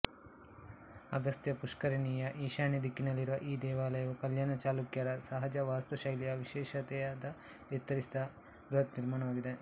ಅಗಸ್ತ್ಯ ಪುಷ್ಕರಿಣಿಯ ಈಶಾನ್ಯ ದಿಕ್ಕಿನಲ್ಲಿರುವ ಈ ದೇವಾಲಯವು ಕಲ್ಯಾಣ ಚಾಲುಕ್ಯರ ಸಹಜ ವಾಸ್ತು ಶೈಲಿಯ ವಿಶೇಷತೆಯಾದ ಎತ್ತರಿಸಿದ ಬೃಹತ್ ನಿರ್ಮಾಣವಾಗಿದೆ